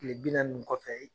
Kile bi naani nin kɔfɛ